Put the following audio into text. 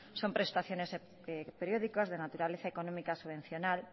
son prestaciones periódicos de naturaleza económica subvencional